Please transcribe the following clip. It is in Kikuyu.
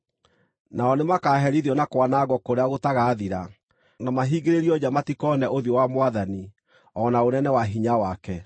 Nao nĩmakaherithio na kwanangwo kũrĩa gũtagathira, na mahingĩrĩrio nja matikoone ũthiũ wa Mwathani, o na ũnene wa hinya wake,